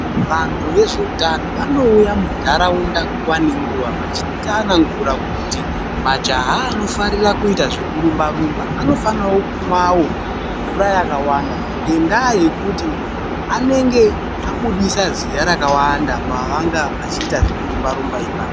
Vantu vezveutano vanouya munharaunda nguva neguva vachitsanangura kuti majaha anofarira kuita zvekurumba-rumba anofanira kumwawo mvura yakawanda, nendaa yekuti anenge abudisa zviya rakawanda pavanga vachiita zvekurumba-rumba ipapo.